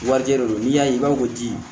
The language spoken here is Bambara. Wajɛ de don n'i y'a ye i b'a fɔ ko ji